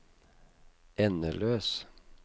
endeløs